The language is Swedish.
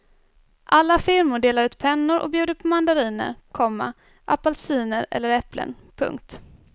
Alla firmor delar ut pennor och bjuder på mandariner, komma apelsiner eller äpplen. punkt